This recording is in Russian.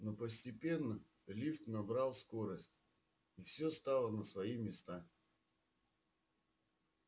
но постепенно лифт набрал скорость и всё стало на свои места